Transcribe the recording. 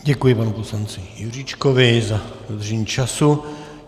Děkuji panu poslanci Juříčkovi za dodržení času.